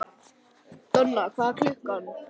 Donna, hvað er klukkan?